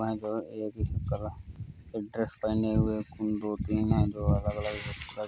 dress पहने हुये है कुन दो तीन है जो अलग अलग